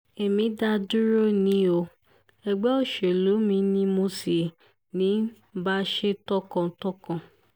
èmi dá dúró ni o ẹgbẹ́ òṣèlú mi ni mo sì ń bá ṣe tọkàntọkàn